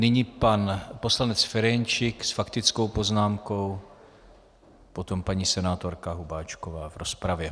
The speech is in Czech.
Nyní pan poslanec Ferjenčík s faktickou poznámkou, potom paní senátorka Hubáčková v rozpravě.